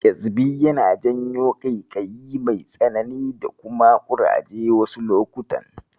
Ƙyezbi yana janyo ƙaiƙayi mai tsanani da kuma ƙuraje wasu lokutan.